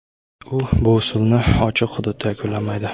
U bu usulni ochiq hududda yakunlamaydi.